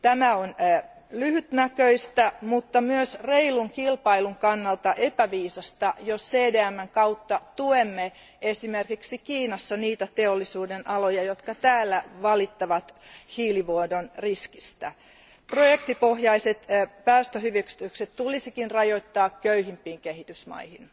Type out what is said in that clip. On lyhytnäköistä, mutta myös reilun kilpailun kannalta epäviisasta, jos CDMn kautta tuemme esimerkiksi Kiinassa niitä teollisuudenaloja, jotka täällä valittavat hiilivuodon riskistä. Projektipohjaiset päästöhyvitykset tulisikin rajoittaa köyhimpiin kehitysmaihin.